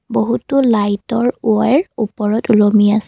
বহুতো লাইটৰ ৱেৰ ওপৰত ওলমি আছে।